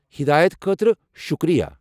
ہدایت خٲطرٕ شُکریہ۔